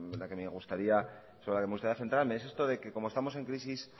la que me gustaría centrarme es esto de que como estamos en crisis